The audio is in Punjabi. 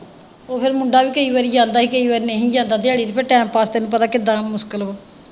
ਉਹ ਫੇਰ ਮੁੰਡਾ ਵੀ ਕਈ ਵਾਰੀ ਜਾਂਦਾ ਸੀ ਕਈ ਵਾਰੀ ਨਹੀਂ ਸੀ ਜਾਂਦਾ ਦਿਆੜੀ ਤੇ ਫੇਰ ਟੈਮ ਪਾਸ ਤੈਨੂੰ ਪਤਾ ਕਿਦਾਂ ਮੁਸ਼ਕਿਲ ਵਾ।